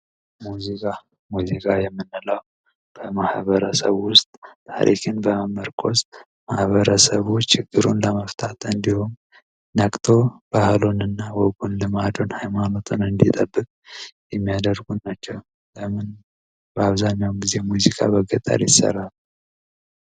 ሙዚቃ ሙዚቃ የምንለው በማህበረሰብ ውስጥ ታሪክን በመመርኮዝ ችግሩን ለመፍታት እንዲሁም ነቅቶ ባህሉን ወጉንና ሃይማኖትን እንዲጠብቅ የሚያደርጉ ናቸው በአብዛኛው ጊዜ ሙዚቃ በገጠር ይሰራል።